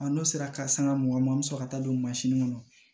n'o sera karisa ka mugan an bɛ sɔrɔ ka taa don kɔnɔ